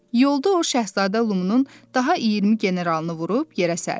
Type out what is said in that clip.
Yolda o şahzadə Lumunun daha 20 generalını vurub yerə sərdi.